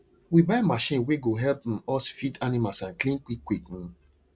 we buy machine wey go help um us feed animals and clean quick quick um